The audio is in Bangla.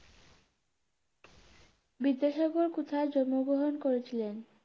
বিদ্যাসাগর কোথায় জন্মগ্রহণ করেছিলেন?